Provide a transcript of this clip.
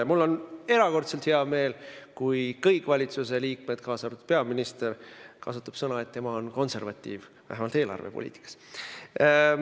Ja mul on erakordselt hea meel, kui kõik valitsusliikmed, k.a peaminister, ütlevad, et nad on konservatiivid, vähemalt eelarvepoliitikas.